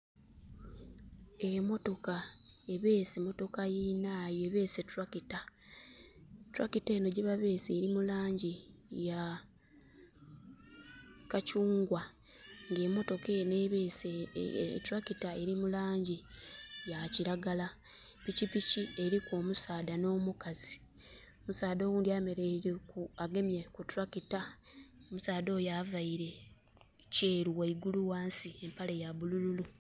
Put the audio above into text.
Emotoka ebeese motoka yinaayo ebeese tractor. Tractor enho yebabeese eli mu laangi ya kakyungwa. Nga emotoka enho ebeese tractor eli mu laangi ya kiragala. Pikipiki eliku omusaadha nh'omukazi. Omusaadha oghundhi ayemeleire ku, agemye ku tractor. Omusaadha oyo availe kyeeru ghaigulu, ghansi empale ya bulululu.